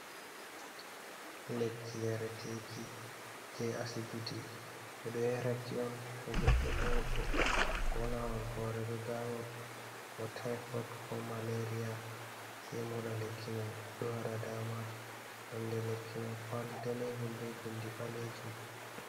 Lekki yareteeki jey asbiti, ɓe ɗo yara ki on, to goɗɗo nyawɗo, ko naawol hoore ɗo daama, ko tayfot, ko maleriya, sey moɗa lekki may. Ɗo waɗa daama, nonde lekki may, kowali daneejum be binndi ɓaleejum.